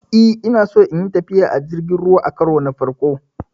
E, Ina so in yi tafiya a kan jirgin ruwa a karon farko.